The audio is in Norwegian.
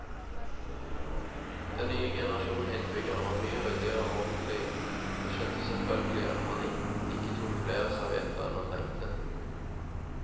Den nye generasjonen innbyggere var mye ryddigere og ordentlige, og skjønte selvfølgelig at man ikke tok flere servietter enn man trengte.